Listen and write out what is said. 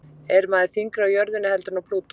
er maður þyngri á jörðinni heldur en á plútó